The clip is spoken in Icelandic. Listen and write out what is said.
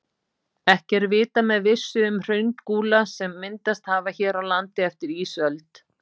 Ekki er vitað með vissu um hraungúla sem myndast hafa hér á landi eftir ísöld.